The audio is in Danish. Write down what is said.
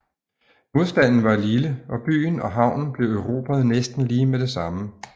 Modstanden var lille og byen og havnen blev erobret næsten lige med det samme